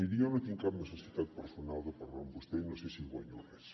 miri jo no tinc cap necessitat personal de parlar amb vostè i no sé si hi guanyo res